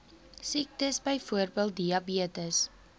siektes byvoorbeeld diabetes